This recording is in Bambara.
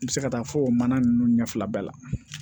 I bɛ se ka taa fɔ o mana ninnu ɲɛ fila bɛɛ la